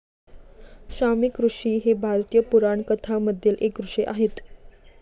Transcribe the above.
शमिकऋषी हे भारतीय पुराणकथामधील एक ऋषी आहेत.